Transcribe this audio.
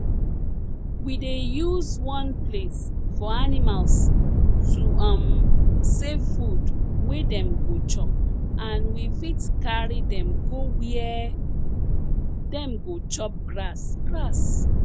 we dey use one place for animals to um save food wey dem go chop and we fit carry dem go where dem go chop grass grass